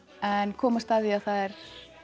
en komast að því að það